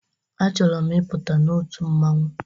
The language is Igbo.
A chọrọ m ị pụta n'otu mmanwu